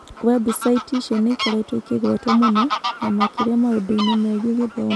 Webusaiti icio nĩ ikoretwo ikĩgwetwo mũno, na makĩria maũndũ-inĩ megiĩ gĩthomo.